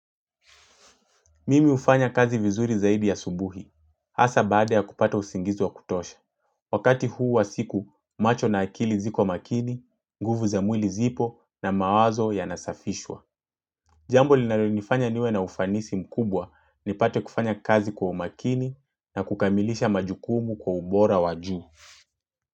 Mimi hufanya kazi vizuri zaidi ya subuhi, hasa baada ya kupata usingizi wa kutosha. Wakati huu wa siku, macho na akili ziko makini, nguvu za mwili zipo na mawazo yanasafishwa. Jambo linalonifanya niwe na ufanisi mkubwa nipate kufanya kazi kwa umakini na kukamilisha majukumu kwa ubora wa juu.